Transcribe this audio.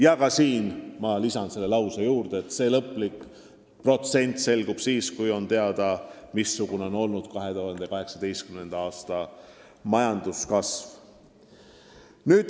Ja ka siin lisan, et lõplik protsent selgub siis, kui on teada, missugune on olnud 2018. aasta majanduskasv.